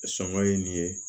Sɔngɔ ye nin ye